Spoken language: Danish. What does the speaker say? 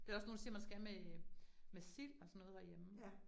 Det der også nogen der siger, man skal med med sild og sådan noget herhjemme